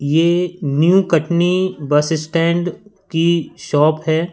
ये new Katni bus stand की shop है।